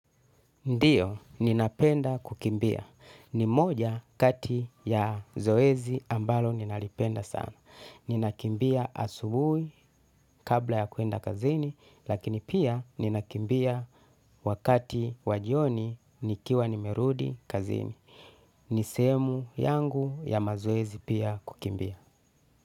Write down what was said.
Ndiyo, ninapenda kukimbia. Ni moja kati ya zoezi ambalo ninalipenda sana. Ninakimbia asubuhi kabla ya kuenda kazini, lakini pia ninakimbia wakati wa jioni nikiwa nimerudi kazini. Ni sehemu yangu ya mazoezi pia kukimbia.